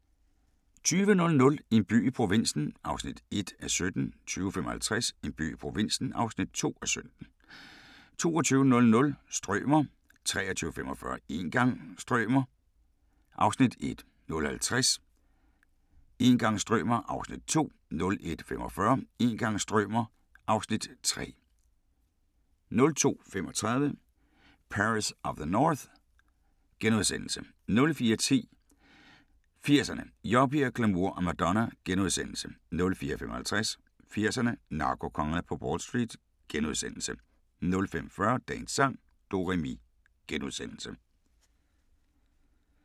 20:00: En by i provinsen (1:17) 20:55: En by i provinsen (2:17) 22:00: Strømer 23:45: Een gang strømer ... (Afs. 1) 00:50: Een gang strømer ... (Afs. 2) 01:45: Een gang strømer ... (Afs. 3) 02:35: Paris of the North * 04:10: 80'erne: Yuppier, glamour og Madonna * 04:55: 80'erne: Narkokongerne på Wall Street * 05:40: Dagens sang: Do-re-mi *